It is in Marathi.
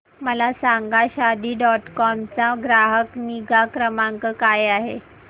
मला सांगा शादी डॉट कॉम चा ग्राहक निगा क्रमांक काय आहे